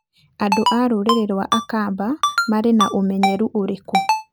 Andũ a rũrĩrĩ rwa Akamba marĩ na ũmenyeru ũrĩkũ?